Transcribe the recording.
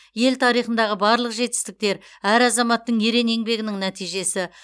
ел тарихындағы барлық жетістіктер әр азаматтың ерен еңбегінің нәтижесі